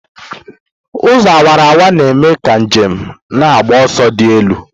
Ụzọ awara awara na-eme ka njem na-agba ọsọ dị elu.